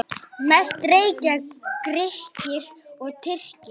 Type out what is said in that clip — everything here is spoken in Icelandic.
Mest reykja Grikkir og Tyrkir.